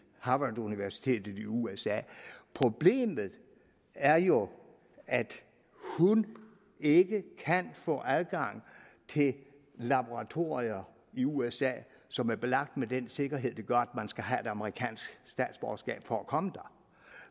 harvarduniversitetet i usa og problemet er jo at hun ikke kan få adgang til laboratorier i usa som er belagt med den sikkerhed der gør at man skal have et amerikansk statsborgerskab for at komme der